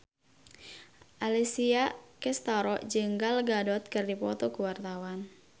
Alessia Cestaro jeung Gal Gadot keur dipoto ku wartawan